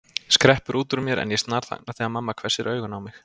skreppur út úr mér en ég snarþagna þegar mamma hvessir augun á mig.